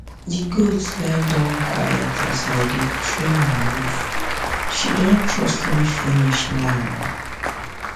the goat goat lie down quiet as i trim her hoofshe don trust me finish now